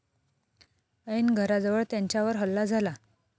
ऐन घराजवळ त्यांच्यावर हल्ला झाला.